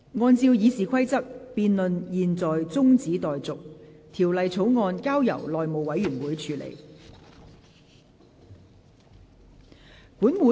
按照《議事規則》，辯論現在中止待續，條例草案交由內務委員會處理。